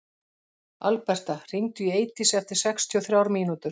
Alberta, hringdu í Eidísi eftir sextíu og þrjár mínútur.